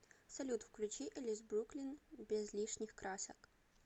салют включи элис бруклин без лишних красок